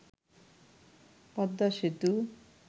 Padma Setu